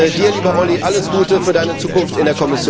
Dir, lieber Olli, alles Gute für Deine Zukunft in